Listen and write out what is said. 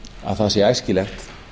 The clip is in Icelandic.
að það sé æskilegt